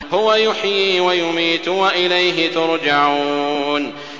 هُوَ يُحْيِي وَيُمِيتُ وَإِلَيْهِ تُرْجَعُونَ